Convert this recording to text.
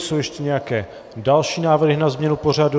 Jsou ještě nějaké další návrhy na změnu pořadu?